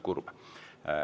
Kurb.